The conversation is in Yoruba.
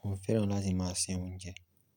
mo fẹ́ràn láti máa se oúnjẹ.